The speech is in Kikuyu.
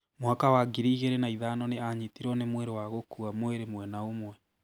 Mwaka wa ngiri igĩrĩ na ithano nĩ aanyitirũo nĩ mũrimũ wa gũkua mwĩrĩ mwena ũmwe